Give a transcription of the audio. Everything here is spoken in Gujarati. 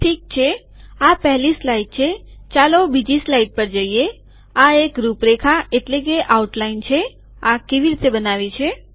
ઠીક છે આ પહેલી સ્લાઇડ છે ચાલો બીજી સ્લાઇડ પર જઈએ આ એક રૂપરેખા આઉટલાઈન છે આ કેવી રીતે બનાવી છે